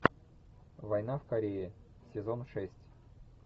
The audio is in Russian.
война в корее сезон шесть